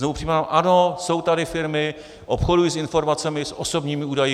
Znovu připomínám, ano, jsou tady firmy, obchodují s informacemi, s osobními údaji.